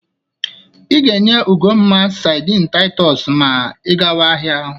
Ị ga-enye Ugomma sadịn Taịtọs ma ị gawa ahịa.